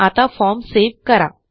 आता form save करा